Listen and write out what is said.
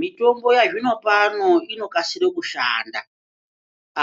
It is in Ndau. Mitombo yazvinopano inokasire kushanda